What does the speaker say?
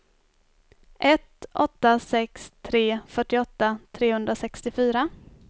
ett åtta sex tre fyrtioåtta trehundrasextiofyra